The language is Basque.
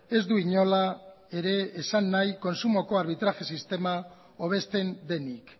ez du inola ere esan nahi kontsumoko arbitraje sistema hobesten denik